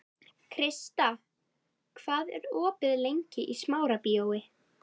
Krista, hvað er opið lengi í Smárabíói?